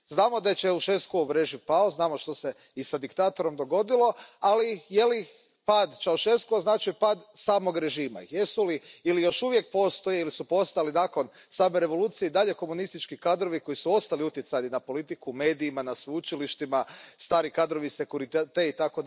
Znamo da je Ceauşescuov režim pao, znamo što se i s diktatorom dogodilo, ali je li pad Ceauşescua značio pad samog režima? Jesu li ili još uvijek postoje ili su postojali nakon same revolucije i dalje komunistički kadrovi koji su ostali utjecajni na politiku, u medijima, na sveučilištima, stari kadrovi Securitate itd.,